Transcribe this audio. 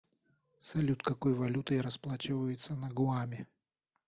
салют какой валютой расплачиваются на гуаме